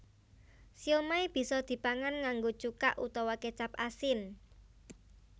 Siomai bisa dipangan nganggo cuka utawa kécap asin